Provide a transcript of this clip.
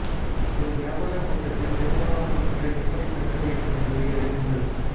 ஒரு வியாபாரக் கூட்டத்தில் பெரும்பாலானவற்றை எப்படிக் கற்க வேண்டும் என்பதை அறியுங்கள்